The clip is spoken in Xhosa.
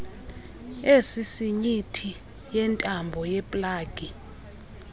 esisinyithi yentambo yeplagi